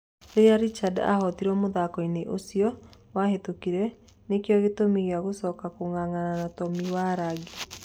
Rĩrĩa Richard ahootirwo mũthako-inĩ ũcio wahetũkire, nĩ kĩo gĩtũmi gĩa gũcoka kung'ang'ana na Tomi Warangi.